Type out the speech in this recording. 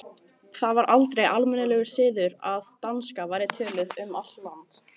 Það var aldrei almennur siður að danska væri töluð um allt land.